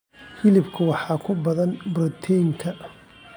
Hilibka waxaa ku badan borotiin ka.